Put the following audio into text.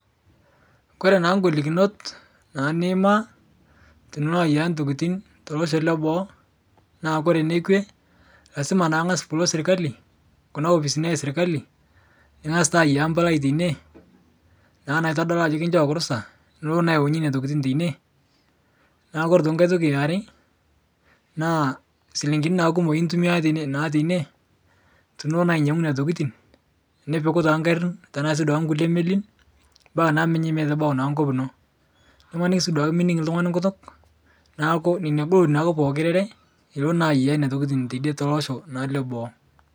Koree naing'olikinot naa niima teniloayiaya ntokitin losho eboo na koree eninkwe, lasima pilo serkal kuna oposini eserkali ningasa aiya emabala teine na naitodolu ajo iata orusa niyaunye ntokitin teine neakuore enkai toki eare na silingini na kumok intumia na teine tenilo na ainyangu nonatokitin tenipik na ngari obkulie melin mbaka na nebau enkop ino ore pemening oltungani nkutuk neaku pookin eboitare neaku nelo Aya ntokitin tolosho le boo.